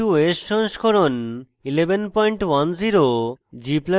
ubuntu os সংস্করণ 1110